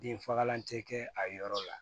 Denfagalan tɛ kɛ a yɔrɔ la